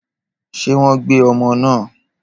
Ṣé wọ́n gbé ọmọ náà?